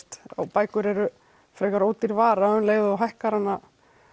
bækur eru frekar ódýr vara og um leið og þú hækkar hana